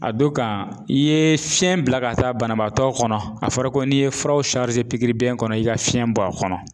A don kan i ye fiɲɛ bila ka taa banabaatɔ kɔnɔ a fɔra ko n'i ye furaw pikiribiyɛn kɔnɔ i ka fiɲɛ bɔ a kɔnɔ.